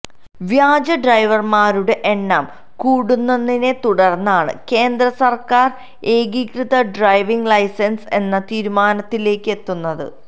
വ്യാജ ഡ്രൈവര്മാരുടെ എണ്ണം കൂടുന്നതിനെ തുടര്ന്നാണ് കേന്ദ്ര സര്ക്കാര് ഏകീതൃത ഡ്രൈവിങ് ലൈസന്സ് എന്ന തീരുമാനത്തിലേക്ക് എത്തുന്നത്